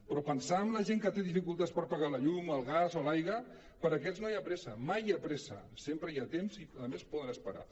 però pensar amb la gent que té dificultats per pagar la llum el gas o l’aigua per a aquests no hi ha pressa mai hi ha pressa sempre hi ha temps i a més poden esperar